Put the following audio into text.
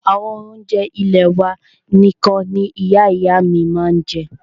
Àwọn oúnjẹ ilẹ́ wà nìkan ní Ìyá ìyá à mí ma ń jẹ́.